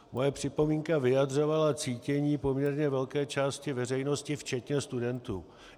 Moje připomínka vyjadřovala cítění poměrně velké části veřejnosti, včetně studentů.